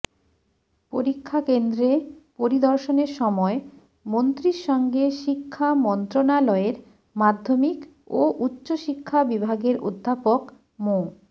পরীক্ষা কেন্দ্রে পরিদর্শনের সময় মন্ত্রীর সঙ্গে শিক্ষা মন্ত্রণালয়ের মাধ্যমিক ও উচ্চশিক্ষা বিভাগের অধ্যাপক মো